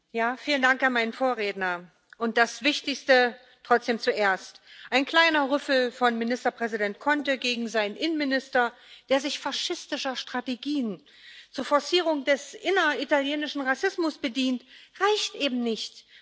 Frau Präsidentin! Vielen Dank an meinen Vorredner. Und das Wichtigste trotzdem zuerst Ein kleiner Rüffel von Ministerpräsident Conte gegen seinen Innenminister, der sich faschistischer Strategien zur Forcierung des inneritalienischen Rassismus bedient, reicht eben nicht.